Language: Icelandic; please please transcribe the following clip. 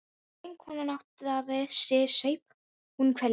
Þegar vinkonan áttaði sig saup hún hveljur.